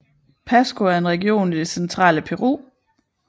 Pasco er en region i det centrale Peru